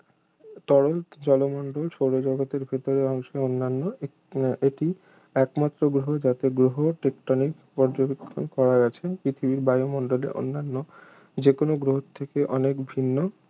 তরল জলমণ্ডল সৌরজগতের ভেতরের অংশে অন্যান্য এ~ এটিই একমাত্র গ্রহ যাতে গ্রহ টেকটোনিক পর্যবেক্ষন করা গেছে পৃথিবীর বায়ুমণ্ডল অন্যান্য যেকোন গ্রহ থেকে অনেক ভিন্ন